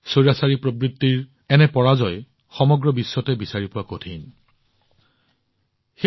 স্বৈৰাচ্চাৰী শাসনৰ মানসিকতাত গণতান্ত্ৰিক পৰাজয়ৰ এনে উদাহৰণ স্বৈৰাচ্চাৰী প্ৰবৃত্তি সমগ্ৰ বিশ্বতে বিচাৰি পোৱা কঠিন